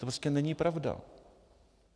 To prostě není pravda.